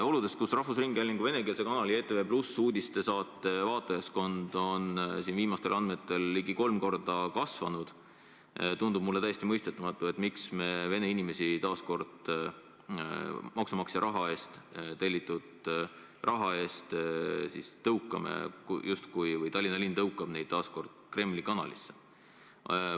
Oludes, kus rahvusringhäälingu venekeelse kanali ETV+ uudistesaate vaatajaskond on viimastel andmetel ligi kolm korda kasvanud, tundub mulle täiesti mõistetamatu, miks Tallinna linn tõukab vene inimesi maksumaksja raha abil justkui Kremli kanalisse.